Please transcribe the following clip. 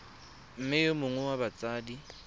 mme yo mongwe wa batsadi